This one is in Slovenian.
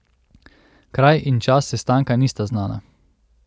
Kraj in čas sestanka nista znana.